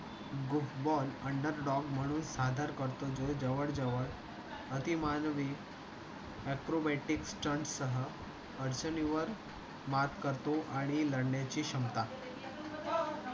ball under dog म्हणून आधार करतो. जवळ जवळ अति मानवी acrobatic stunt सह अडचणी वर मात करतो आणि लढण्या ची क्षमता.